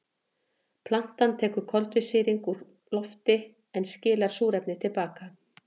Plantan tekur koltvísýring úr lofti en skilar súrefni til baka.